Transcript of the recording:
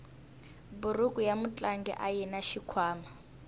buruku ya mutlangi ayina xikhwama